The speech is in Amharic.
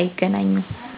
አይገናኙም።